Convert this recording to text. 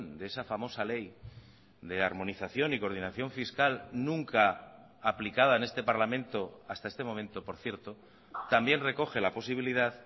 de esa famosa ley de armonización y coordinación fiscal nunca aplicada en este parlamento hasta este momento por cierto también recoge la posibilidad